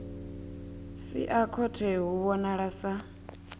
sia khothe hu vhonala sa